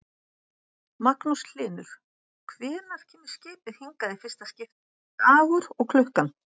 Magnús Hlynur: Hvenær kemur skipið hingað í fyrsta skiptið, dagur og klukkan?